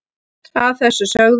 að þessu sögðu